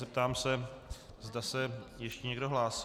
Zeptám se, zda se ještě někdo hlásí.